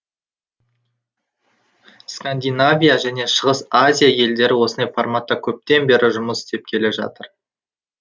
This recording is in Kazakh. скандинавия және шығыс азия елдері осындай форматта көптен бері жұмыс істеп келе жатыр